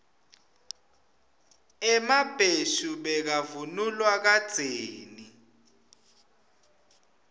emabheshu bekavunulwa kadzeni